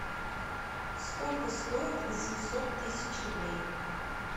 сколько стоит восемьсот тысяч рублей